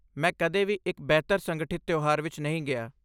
ਮੈਂ ਕਦੇ ਵੀ ਇੱਕ ਬਿਹਤਰ ਸੰਗਠਿਤ ਤਿਉਹਾਰ ਵਿੱਚ ਨਹੀਂ ਗਿਆ।